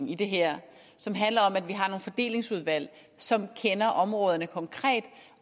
i det her som handler om at vi har nogle fordelingsudvalg som kender områderne konkret